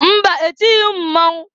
Mba! Etighi m mmọnwụ.